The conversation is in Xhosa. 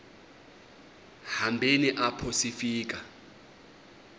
hambeni apho sifika